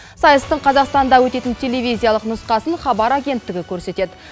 сайыстың қазақстанда өтетін телевизиялық нұсқасын хабар агенттігі көрсетеді